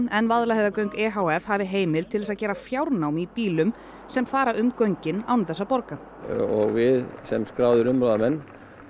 en Vaðlaheiðargöng e h f hafi heimild til að gera fjárnám í bílum sem fara um göngin án þess að borga og sem skráðir umráðamenn